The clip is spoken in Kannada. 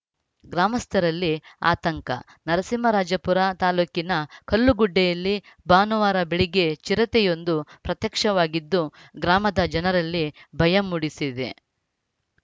ಗ್ರಾಮಸ್ಥರಲ್ಲಿ ಆತಂಕ ನರಸಿಂಹರಾಜಪುರ ತಾಲೂಕಿನ ಕಲ್ಲುಗುಡ್ಡೆಯಲ್ಲಿ ಭಾನುವಾರ ಬೆಳಗ್ಗೆ ಚಿರತೆಯೊಂದು ಪ್ರತ್ಯಕ್ಷವಾಗಿದ್ದು ಗ್ರಾಮದ ಜನರಲ್ಲಿ ಭಯ ಮೂಡಿಸಿದೆ